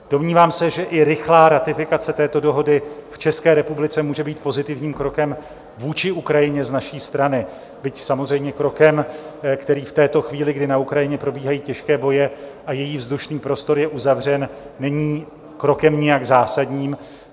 Domnívám se, že i rychlá ratifikace této dohody v České republice může být pozitivním krokem vůči Ukrajině z naší strany, byť samozřejmě krokem, který v této chvíli, kdy na Ukrajině probíhají těžké boje a její vzdušný prostor je uzavřen, není krokem nijak zásadním.